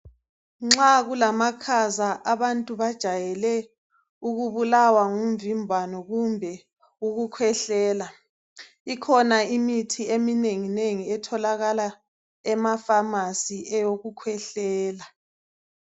Nxa kulamakhaza abantu bajayele ukubulawa ngumvimbano kumbe ukukhwehlela. Ikhona imithi eminenginengi etholakala emafamasi eyokukhwehlela.